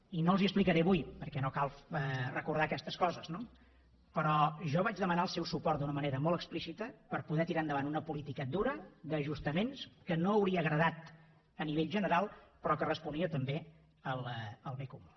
i no els ho explicaré avui perquè no cal recordar aquestes coses no però jo vaig demanar el seu suport d’una manera molt explícita per poder tirar endavant una política dura d’ajustaments que no hauria agradat a nivell general però que responia també al bé comú